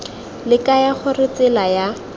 le kaya gore tsela ya